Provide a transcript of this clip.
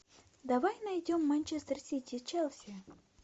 давай найдем манчестер сити челси